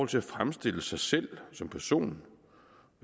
til at fremstille sig selv som person